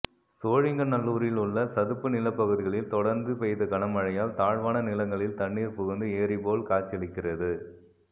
சோழிங்கநல்லூரில் உள்ள சதுப்பு நிலப்பகுதிகளில் தொடர்ந்து பெய்த கனமழையால் தாழ்வான நிலங்களில் தண்ணீர் புகுந்து ஏரி போல் காட்சியளிக்கிறது